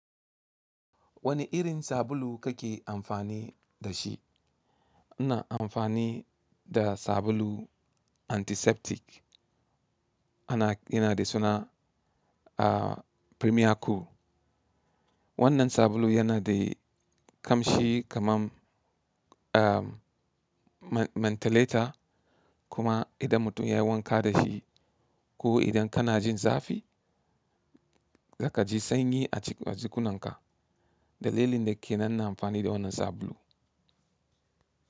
Wane irin sabulu kake amfani da shi? Ina amfani da sabulu antiseptic yana da suna a Premiere Cool. Wannan sabulu yana da kamshi kaman a mentholater kuma idan mutum ya yi wanka da shi ko idan kana jin zafi za ka ji sanyi a jikunanka. Dalilin da ke nan na amfani da wannan sabulu.